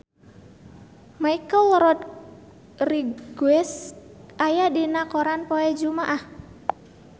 Michelle Rodriguez aya dina koran poe Jumaah